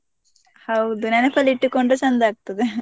ಹೌದು ನೆನಪಲ್ಲಿ ಇಟ್ಟುಕೊಂಡು ಚೆಂದ ಆಗ್ತದೆ .